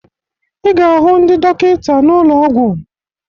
Ị ga-ahụ ndị dọkịta n'ụlọ ọgwụ